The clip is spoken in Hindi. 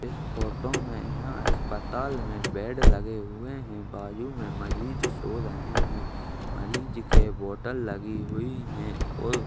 इस फ़ोटो में यहां अस्पताल में बेड लगे हुए हैं। बाजू में मरीज सो रहे हैं। मरीज के बोटल लगी हुई है और --